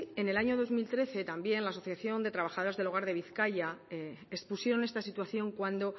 en el año dos mil trece también la asociación de trabajadoras del hogar de bizkaia expusieron esta situación cuando